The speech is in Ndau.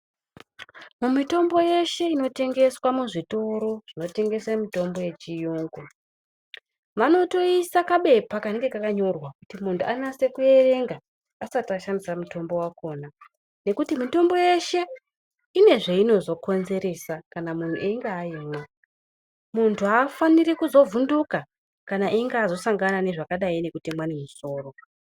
Mitombk yeshe inotengeswa muzvitoro zvinotengesa mitombo yechiyungu vanotoisa kapepa kanenge kakatonyorwa kuti muntu anase kuerenga asati ashandisa mutombo wakona nekuti mitombk yeshe ine zveinozokonzeresa kana munhu eyinga aimwa. Muntu afani kuzovhunduka kana eyinge asangana nezvakadai ngekutemwa nemusoro.